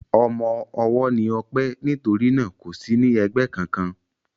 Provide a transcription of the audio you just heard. Ọmọ ọwọ́ ni Ọpẹ́ nítorí náà kò sí ní ẹgbẹ́ kankan.